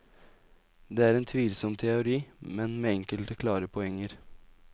Det er en tvilsom teori, men med enkelte klare poenger.